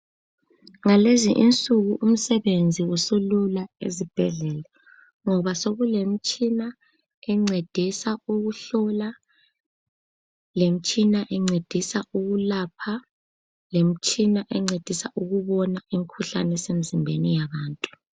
ngalezi insuku umsebenzi usulula ezibhedlela ngoba sekulemitshina encedisa ukuhlola lemtshina encedisa ukulapha lemtshina encedisa ukubona imikhuhlane esemzimbeni yabantu